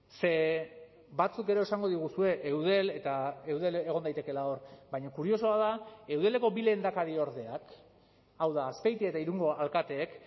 ze batzuk ere esango diguzue eudel eta eudel egon daitekeela hor baina kuriosoa da eudeleko bi lehendakariordeak hau da azpeitia eta irungo alkateek